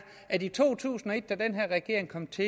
at i to tusind og et da den her regering kom til